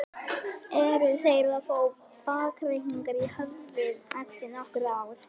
Eru þeir að fá bakreikning í höfuðið eftir nokkur ár?